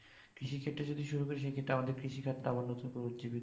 কৃষি ক্ষেত্রে যদি শুরু করি তাহলে সে ক্ষেত্রে আমাদের কৃষি খাত আবার নতুন করে উজ্জিবিত